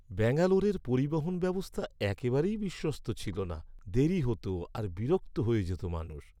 ব্যাঙ্গালোরের পরিবহন ব্যবস্থা একেবারেই বিশ্বস্ত ছিল না, দেরী হত আর বিরক্ত হয়ে যেত মানুষ।